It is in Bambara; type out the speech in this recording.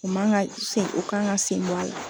U man ka sen o kan ka sen bɔ a la.